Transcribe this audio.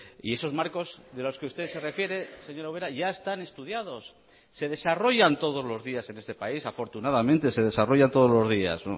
y esos marcos de los que usted se refiere señora ubera ya están estudiados se desarrollan todos los días en este país afortunadamente se desarrollan todos los días